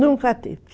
Nunca teve.